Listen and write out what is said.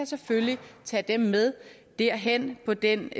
selvfølgelig tage dem med derhen på den